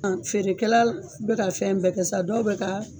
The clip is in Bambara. Feerekɛ la bɛ ka fɛn bɛɛ kɛ sa dɔw bɛ ka